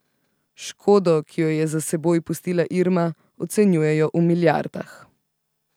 Škodo, ki jo je za seboj pustila Irma, ocenjujejo v milijardah.